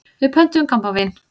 Við pöntuðum kampavín.